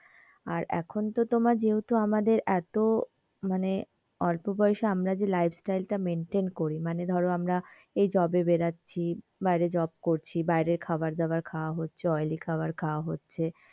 আর এখন তো তোমার যেহুতু আমাদের এতো মানে অল্প বয়েসে আমরা যে lifestyle তা maintain করি মানে ধরো আমরা এই job এ বেরোচ্ছি বাইরে job করছি বাইরে খাবারদাবার খাওয়া হচ্ছে oily খবর খাওয়া হচ্ছে,